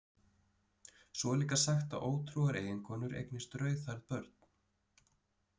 Svo er líka sagt að ótrúar eiginkonur eignist rauðhærð börn.